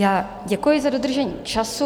Tak děkuji za dodržení času.